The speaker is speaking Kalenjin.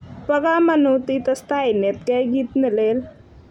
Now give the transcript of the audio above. Pa kamanut itestai inetkey kit ne lel